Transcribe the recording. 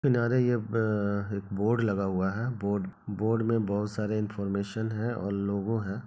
किनारे य अ एक बोर्ड लगा हुआ है बोर्ड बोर्ड में बहुत सारे इनफॉरमेशन है और लोगो है।